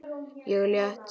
Ég er létt.